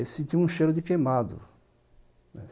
Aí senti um cheiro de queimado, né.